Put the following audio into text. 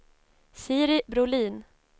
Siri Brolin